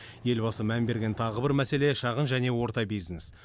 елбасы мән берген тағы бір мәселе шағын және орта бизнес